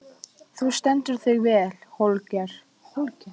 Þú stendur þig vel, Holger!